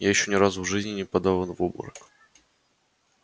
я ещё ни разу в жизни не падала в обморок